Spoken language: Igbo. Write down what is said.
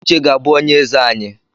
Uche ga-abụ onye eze anyị